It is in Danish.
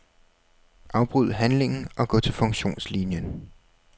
Afbryd handlingen og gå til funktionslinien.